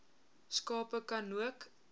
skape ka nook